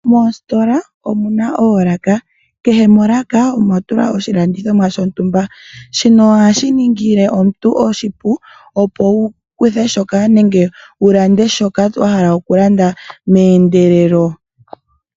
Moositola omuna oolaka. Kehe molaka omwa tulwa oshilandithomwa shontumba. Shino ohashi ningile omuntu oshipu opo a kuthe nenge a lande shoka a hala okulanda meendelelo.